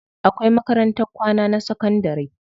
Akwai makarantar kwana na sakandari.